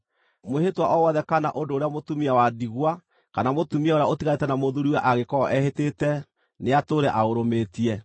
“Mwĩhĩtwa o wothe kana ũndũ ũrĩa mũtumia wa ndigwa kana mũtumia ũrĩa ũtiganĩte na mũthuuriwe angĩkorwo ehĩtĩte nĩatũũre aũrũmĩtie.